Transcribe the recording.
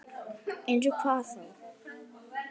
Eins og hvað þá?